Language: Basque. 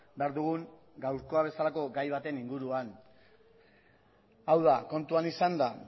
behar dugun gaurkoa bezalako gai baten inguruan hau da kontuan izanda